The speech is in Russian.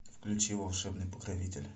включи волшебный покровитель